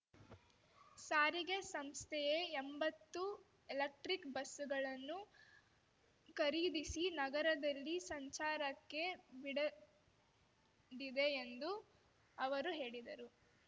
ಸಾರಿಗೆ ಸಂಸ್ಥೆಯೇ ಎಂಬತ್ತು ಎಲೆಕ್ಟ್ರಿಕ್ ಬಸ್ಸುಗಳನ್ನು ಖರೀದಿಸಿ ನಗರದಲ್ಲಿ ಸಂಚಾರಕ್ಕೆ ಬಿಡದಿದೆ ಎಂದು ಅವರು ಹೇಳಿದರು